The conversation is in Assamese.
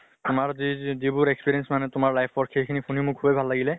আমাৰ যি যি যিবোৰ experience মানে তোমাৰ life ৰ সেই খিনি শুনি মোক সুবে ভাল লাগিলে।